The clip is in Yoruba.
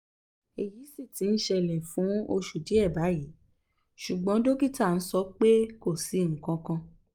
eyí si ti ń ṣẹlẹ̀ fún oṣù díẹ̀ báyìí ṣùgbọ́n dókítà nso pé kò sí nǹkankan